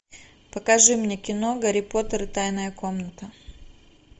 покажи мне кино гарри поттер и тайная комната